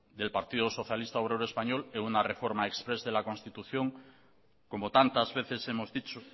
y el partido socialista obrero español en una reforma exprés de la constitución como tantas veces hemos dicho